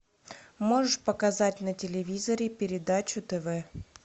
можешь показать на телевизоре передачу тв